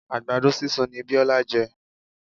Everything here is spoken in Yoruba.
Àgbàdo sísun ni Biola jẹ.